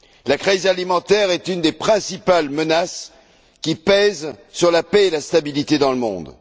La crise alimentaire est une des principales menaces qui pèsent sur la paix et la stabilité dans le monde.